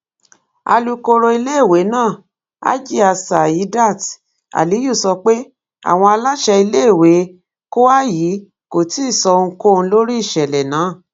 alūkoro iléèwé náà hajia saeedat aliyu sọ pé àwọn aláṣẹ iléèwé kwayi kò tí ì sọ ohunkóhun lórí ìṣẹ̀lẹ̀ náà